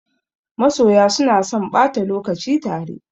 Masoya suna son ɓata lokaci tare.